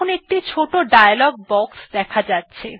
এখন একটি ছোট ডায়ালগ বক্স দেখা যাচ্ছে